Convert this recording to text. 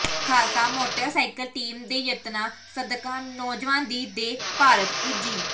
Khalsa motorcycle team ਦੇ ਯਤਨਾਂ ਸਦਕਾ ਨੌਜਵਾਨ ਦੀ ਦੇਹ ਭਾਰਤ ਪੁੱਜੀ